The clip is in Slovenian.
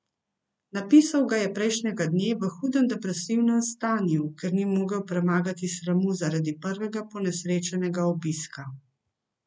Napisal ga je prejšnjega dne v hudem depresivnem stanju, ker ni mogel premagati sramu zaradi prvega ponesrečenega obiska.